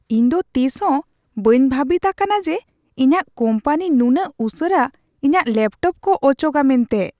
ᱤᱧ ᱫᱚ ᱛᱤᱥ ᱦᱚᱸ ᱵᱟᱹᱧ ᱵᱷᱟᱹᱵᱤᱛ ᱟᱠᱟᱱᱟ ᱡᱮ ᱤᱧᱟᱜ ᱠᱳᱢᱯᱟᱱᱤ ᱱᱩᱱᱟᱹᱜ ᱩᱥᱟᱹᱨᱟ ᱤᱧᱟᱜ ᱞᱮᱯᱴᱚᱯ ᱠᱚ ᱚᱪᱚᱜᱼᱟ ᱢᱮᱱᱛᱮ !